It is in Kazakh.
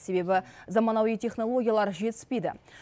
себебі заманауи технологиялар жетіспейді